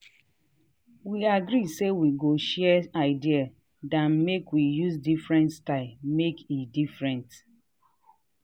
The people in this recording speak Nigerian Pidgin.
we agree say we go share idea then make we use diferent style make e different.